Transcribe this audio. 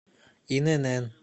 инн